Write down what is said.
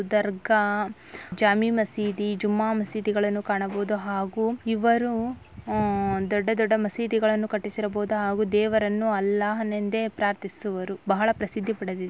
ದರ್ಗಾ ಜಾಮಿ ಮಸೀದಿ ಜುಮ್ಮ ಮಸೀದಿಗಳನ್ನು ಕಾಣಬಹುದು ಹಾಗೂ ಇವರು ದೊಡ್ಡ ದೊಡ್ಡ ಮಸೀದಿ ಗಳನ್ನು ಕಟ್ಟಿಸಿರಬಹುದು ಹಾಗೂ ದೇವರನ್ನು ಅಲ್ಲ ನೆಂದೇ ಪ್ರಾರ್ಥಿಸುವರು ಬಹಳ ಪ್ರಸಿದ್ಧಿ ಪಡೆದಿದ್ದೆ.